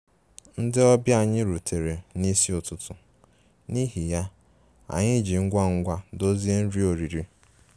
Ndị ọbịa anyị rutere n'isi ụtụtụ, n'ihi ya, anyị ji ngwa ngwa dozie nri oriri